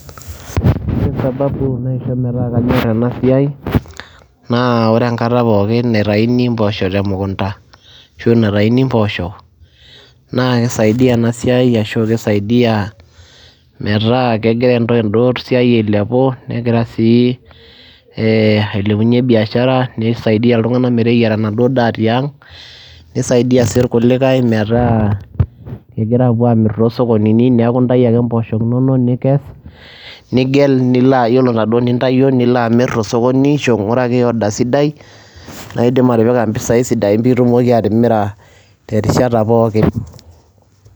ore sababu naisho metaa kanyor ena siai, naa ore enkata pookin naitayuni mpoosho temkunta, ashu naitayuni mpooshok, naa kisaidia ena siai, ashu kisaidia metaa kegira eda siai ailepu, negira sii ailepunye biashara. nisaidia iltunganak meteyiara enaduoo daa tiang'.nisaidia si irkulikae metaa kegira aapuo aamir tosokonini, neeku intayu ake mposho inono nikes. nigel, ore inaduoo nintayio, nilo amir tosokoni ashu inguraki order sidai, naidim atipika mpisai sidain, naidim atipika, terishata pookin.